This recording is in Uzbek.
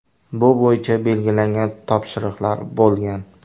Bu bo‘yicha belgilangan topshiriqlar bo‘lgan”.